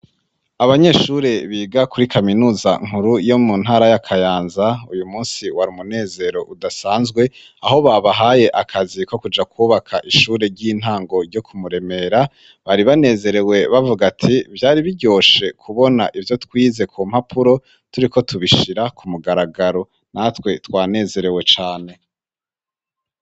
Abanyeshure biga kuri kaminuza nkuru yo mu ntara ya Kayanza, uyu munsi wari umunezero udasanzwe, aho babahaye akazi ko kuja kwubaka ishure ry'intango ryo ku Muremera ; bari banezerewe bavuga ati "vyari biryoshe kubona ivyo twize ku mpapuro turiko tubishira ku mugaragaro ", natwe twanezerewe cane.